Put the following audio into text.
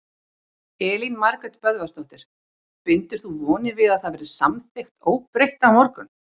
Elín Margrét Böðvarsdóttir: Bindur þú vonir við að það verði samþykkt óbreytt á morgun?